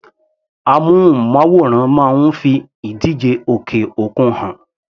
Amúnmáwòrán máa ń fi ìdíje òkè òkun hàn.